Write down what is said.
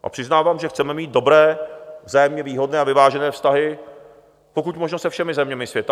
A přiznávám, že chceme mít dobré, vzájemně výhodné a vyvážené vztahy pokud možno se všemi zeměmi světa.